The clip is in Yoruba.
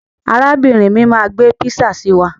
Arábìrin mi máa gbé písà si wá.